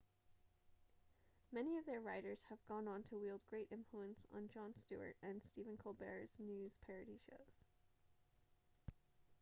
many of their writers have gone on to wield great influence on jon stewart and stephen colbert's news parody shows